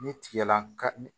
Ni tigɛ la ka